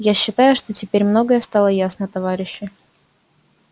я считаю что теперь многое стало ясно товарищи